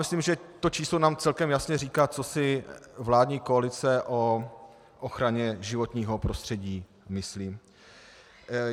Myslím, že to číslo nám celkem jasně říká, co si vládní koalice o ochraně životního prostředí myslí.